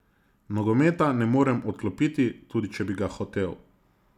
Nogometa ne morem odklopiti, tudi če bi ga hotel.